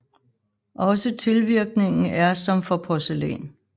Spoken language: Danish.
Også tilvirkningen er som for porcelæn